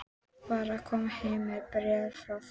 Var að koma heim með bréfið frá þér.